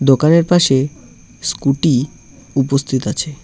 দোকানের পাশে স্কুটি উপস্থিত আছে।